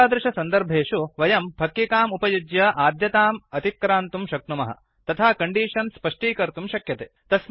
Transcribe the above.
एतादृश सन्दर्भेषु वयम् फक्किकाम् उपयुज्य आद्यताम् अतिक्रान्तुं शक्नुमः तथा कण्डीषन् स्पष्टीकर्तुं शक्यते